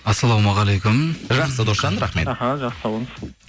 ассалаумағалейкум жақсы досжан рахмет іхі жақсы сау болыңыз